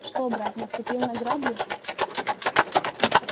что брат наступил на грабли